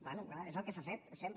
bé clar és el que s’ha fet sempre